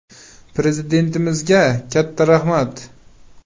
Prezidentimizga katta rahmat.